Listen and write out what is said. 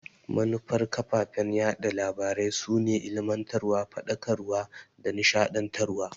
Manufar kafafen yaɗa labarai su ne ilimantarwa, Faɗakarwa da nishadantarwa.